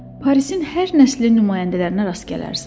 Parisin hər nəslinin nümayəndələrinə rast gələrsən.